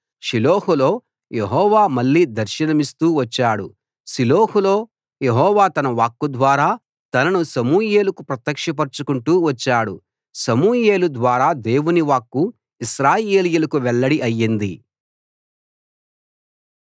షిలోహులో యెహోవా మళ్ళీ దర్శనమిస్తూ వచ్చాడు షిలోహులో యెహోవా తన వాక్కు ద్వారా తనను సమూయేలుకు ప్రత్యక్ష పరచుకుంటూ వచ్చాడు సమూయేలు ద్వారా దేవుని వాక్కు ఇశ్రాయేలీయులకు వెల్లడి అయింది